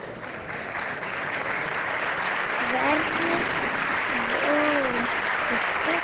Hvernig þvoum við fötin?